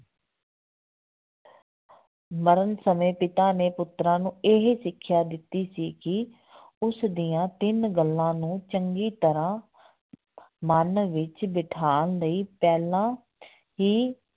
ਮਰਨ ਸਮੇਂ ਪਿਤਾ ਨੇ ਪੁੱਤਰਾਂ ਨੂੰ ਇਹ ਸਿੱਖਿਆ ਦਿੱਤੀ ਸੀ ਕਿ ਉਸ ਦੀਆਂ ਤਿੰਨ ਗੱਲਾਂ ਨੂੰ ਚੰਗੀ ਤਰ੍ਹਾਂ ਮਨ ਵਿੱਚ ਬਿਠਾਉਣ ਲਈ ਪਹਿਲਾਂ ਹੀ